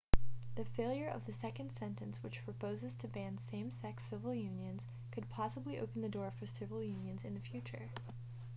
the failure of the second sentence which proposes to ban same-sex civil unions could possibly open the door for civil unions in the future